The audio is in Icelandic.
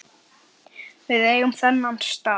Við eigum þennan stað